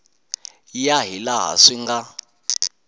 ya hi laha swi nga